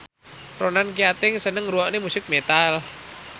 Ronan Keating seneng ngrungokne musik metal